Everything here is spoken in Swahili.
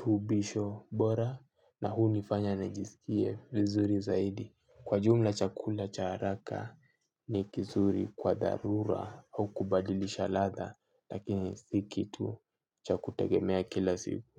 tubisho bora na huni fanya na jiskie vizuri zaidi. Kwa jumla chakula cha haraka ni kizuri kwa dharura au kubadilisha latha lakini si kitu chakutegemea kila siku.